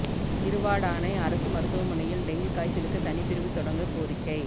திருவாடானை அரசு மருத்துவமனையில் டெங்கு காய்சலுக்கு தனிப் பிரிவு தொடங்க கோரிக்கை